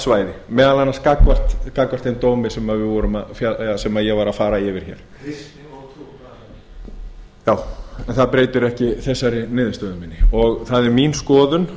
svæði meðal annars gagnvart þeim dómi sem ég var að fara yfir hér já en það breytir ekki þessari niðurstöðu minni það er mín skoðun